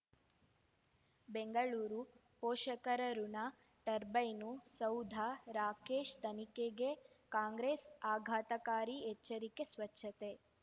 ಬೆಂಗಳೂರು ಪೋಷಕರಋಣ ಟರ್ಬೈನು ಸೌಧ ರಾಕೇಶ್ ತನಿಖೆಗೆ ಕಾಂಗ್ರೆಸ್ ಆಘಾತಕಾರಿ ಎಚ್ಚರಿಕೆ ಸ್ವಚ್ಛತೆ